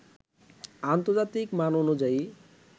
আন্তজার্তিক মান অনুযায়ী